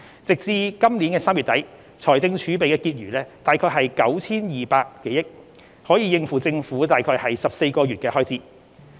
截至本年3月底，財政儲備的結餘約為 9,200 多億元，可應付政府約14個月的開支。